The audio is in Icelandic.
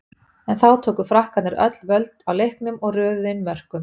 En þá tóku Frakkarnir öll völd á leiknum og röðuðu inn mörkum.